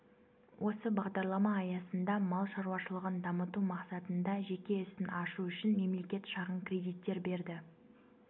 осы бағдарлама аясында мал шаруашылығын дамыту мақсатында жеке ісін ашу үшін мемлекет шағын кредиттер берді